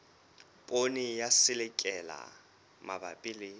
poone ya selelekela mabapi le